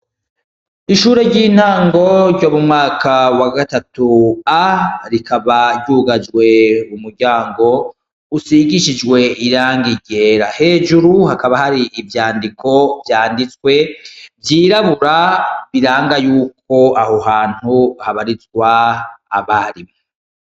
Ishure ryintango ryumwaka wa gatatu A rikaba ryugajwe umuryango usigishijwe irangi ryera hejuru hakaba hari ivyandiko vyanditswe vyirabura biranga yuko aho hantu habarizwa abahari